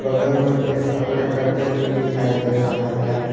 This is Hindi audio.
बगल में एक खपड़े का घर भी दिखाई दे रहा है।